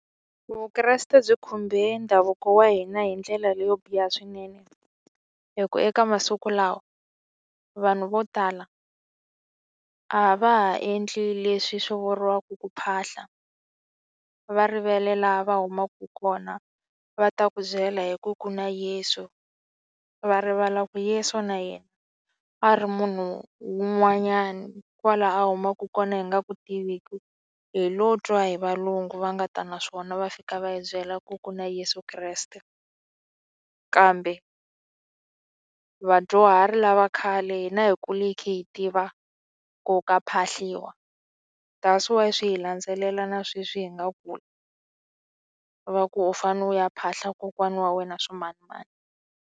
Vukreste byi khumbe ndhavuko wa hina hindlela leyo biha swinene hikuva eka masiku lawa vanhu vo tala a va ha endli leswi swi vuriwaka ku phahla va rivele laha va humaka kona va ta ku byela hi ku ku na yeso va rivala yeso na yena a ri munhu un'wanyani kwala a humaku kona hi nga ku tiveki hi lo twa hi valungu va nga ta na swona va fika va hi byela ku ku na yeso kreste kambe vadyuhari lava khale hina hi kule hi khe hi tiva ku ka phahliwa that's why swi hi landzelela na sweswi hi nga kula va ku u fane u ya phahla kokwana wa wena swimanimani.